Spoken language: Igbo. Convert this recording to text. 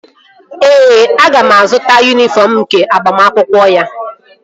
Ee, aga m azụta yunifọm nke agbamakwụkwọ ya